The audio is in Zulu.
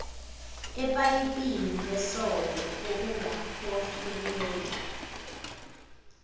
epayipini lesondo okungaholela